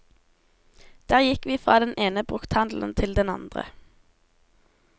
Der gikk vi fra den ene brukthandelen til den andre.